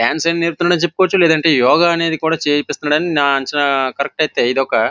dance అయినా నేర్పుతున్నాడు అని చెప్పుకోవచ్చు లేదంటే యోగా అనేది కూడా చేపిస్తున్నాడు అని నా అంచనా కరెక్ట్ అయితే ఇదొక --